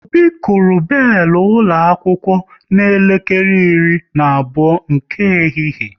Obi kụrụ belu ụlọ akwụkwọ n'elekere iri na abụọ nke ehihie